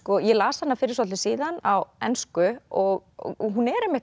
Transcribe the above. ég las hana fyrir svolitlu síðan á ensku og hún er